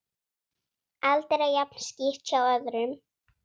Aldrei jafn skítt hjá öðrum.